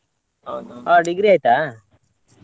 ಆ degree ಆಯ್ತಾ?